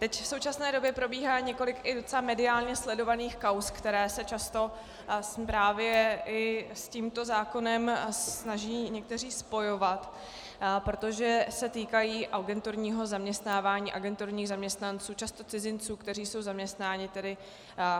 Teď v současné době probíhá několik i docela mediálně sledovaných kauz, které se často právě i s tímto zákonem snaží někteří spojovat, protože se týkají agenturního zaměstnávání agenturních zaměstnanců, často cizinců, kteří jsou zaměstnáni tedy